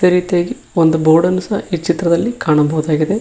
ಅದೇ ರೀತಿಯಾಗಿ ಒಂದು ಬೋರ್ಡ ನ್ನು ಸಹ ಈ ಚಿತ್ರದಲ್ಲಿ ಕಾಣಬಹುದಾಗಿದೆ.